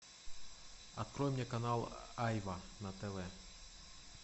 открой мне канал айва на тв